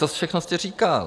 To všechno jste říkal.